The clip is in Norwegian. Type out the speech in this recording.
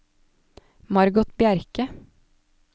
Margot Bjerke